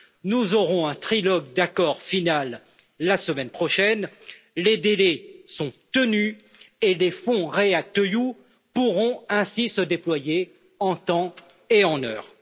Nous aurons un trilogue d'accord final la semaine prochaine, les délais sont tenus et des fonds REACT EU pourront ainsi se déployer en temps et en heure.